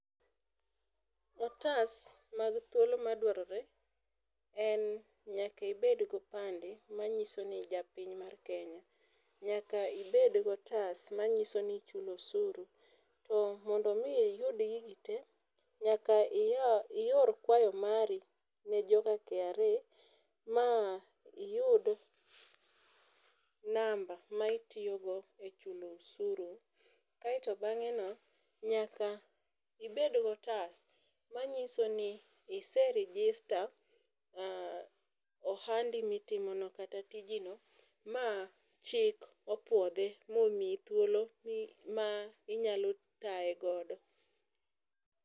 Otas mag thuolo ma dwarore en nyaka ibed gi opande ma nyiso ni in japiny mar Kenya, nyaka ibed gi otas ma nyiso ni ichulo osuru. To mondo mi iyud gigi te nyaka iyaw ior kwayo mari ne joka kra ka iyud namba ma itiyo go e chulo osuru. Aito bang'e no nyaka ibed go otas ma ng'iso ni ise register ohandi mi itimo no kata tiji no ,ma chik opuodhe ma omiyi thuolo ma inyalo taye godo.